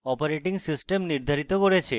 operating system নির্ধারিত করেছে